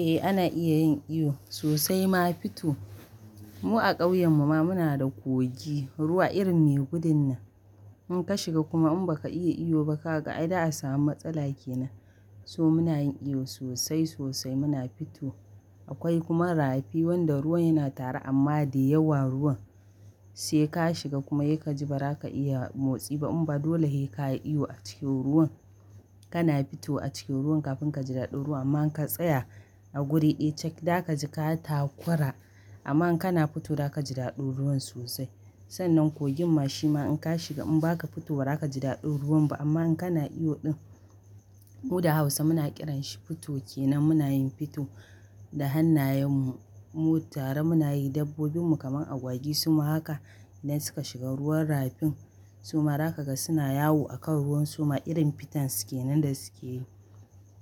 Eh ana iya yin iyo sosai ma fito. Mu a ƙauyen mu ma muna da kogi, ruwa irin ne gudun nan. In ka shiga kuma in ba ka iya iyo ba ka ga ai za'a samu matsala kenan. So muna yin iyo sosai sosai muna fito. Akwai kuma rafi wanda ruwan yana tare amma da yawa ruwan. Sai ka shiga kuma yai ka ji ba za ka iya motsi ba in ba dole he ka yi iyo a cikin ruwan. Kana fito a cikin ruwan kafin ka ji daɗin ruwan amma in ka tsaya a guri, eh cak zaka ji ka takura amma in kana fito za ka ji daɗin ruwan sosai. Sannan kogin ma shima in ka shiga in ba ka fito ba za ka ji daɗin ruwan ba amma in kana iyo ɗin. Mu da Hausa muna ƙiran shi fito kenan muna yin fito da hannayen mu tare muna yi dabbobin mu kamar agwagi suma haka idan suka shiga ruwan rafin suma zakaga suna yawo a kan ruwan suma irin fiton su kenan da suke yi.